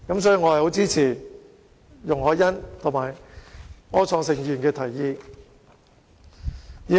所以，我很支持容海恩議員及柯創盛議員的提議。